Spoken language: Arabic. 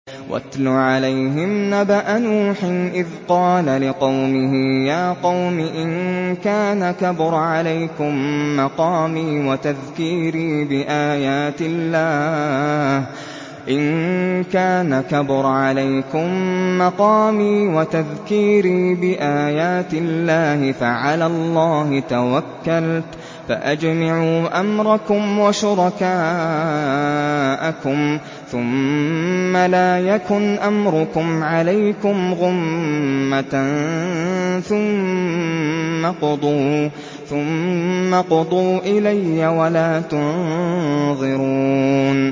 ۞ وَاتْلُ عَلَيْهِمْ نَبَأَ نُوحٍ إِذْ قَالَ لِقَوْمِهِ يَا قَوْمِ إِن كَانَ كَبُرَ عَلَيْكُم مَّقَامِي وَتَذْكِيرِي بِآيَاتِ اللَّهِ فَعَلَى اللَّهِ تَوَكَّلْتُ فَأَجْمِعُوا أَمْرَكُمْ وَشُرَكَاءَكُمْ ثُمَّ لَا يَكُنْ أَمْرُكُمْ عَلَيْكُمْ غُمَّةً ثُمَّ اقْضُوا إِلَيَّ وَلَا تُنظِرُونِ